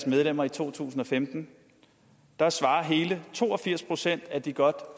medlemmer i to tusind og femten svarer hele to og firs procent af de godt